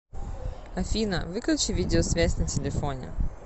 афина выключи видеосвязь на телефоне